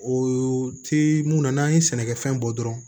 O tɛ mun na n'an ye sɛnɛkɛfɛn bɔ dɔrɔn